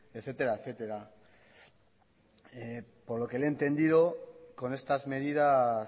etcétera etcétera por lo que le he entendido con estas medidas